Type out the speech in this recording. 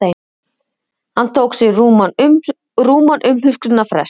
Hann tók sér rúman umhugsunarfrest.